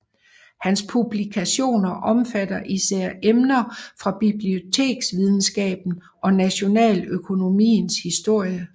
Hans publikationer omfatter især emner fra biblioteksvidenskaben og nationaløkonomiens historie